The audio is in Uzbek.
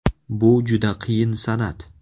Bu juda qiyin san’at.